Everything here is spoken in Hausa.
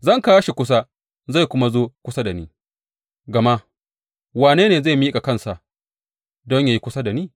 Zan kawo shi kusa zai kuma zo kusa da ni, gama wane ne zai miƙa kansa don yă yi kusa da ni?’